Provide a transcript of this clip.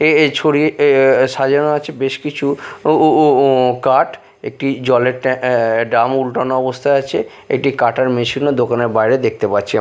এ-এ ছড়িয়ে এ সাজানো আছে বেশ কিছু ও-ও-ও-ও কাঠ একটি জলের ট্যা অ্যা ড্রাম উল্টানো অবস্থায় আছে একটি কাটার মেশিনও -ও দোকানের বাইরে দেখতে পাচ্ছি।